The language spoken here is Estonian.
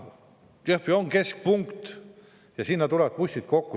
Jõhvi on keskpunkt ja sinna tulevad bussid kokku.